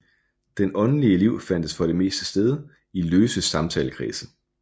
Det åndelige liv fandt for det meste sted i løse samtalekredse